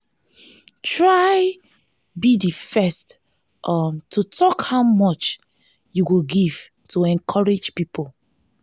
try be di first um to talk how much you go give to encourage pipo